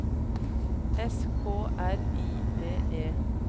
S K R I V E